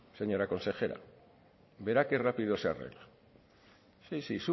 señora consejera verá que rápido se arregla sí